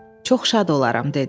Çox şad olaram dedi.